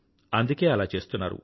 అందుకే అలా చేస్తున్నారు